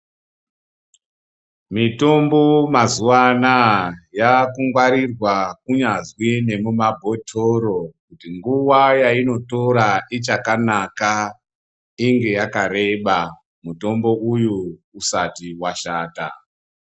Mitombo mazwa anaa yaakugwarirwa kunyazwi nemumabhotoro kuti nguwa yainotora ichakanaka inge yakareba mutombo uyu usati washata.